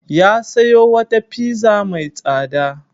Ya sayo wata pizza mai tsada.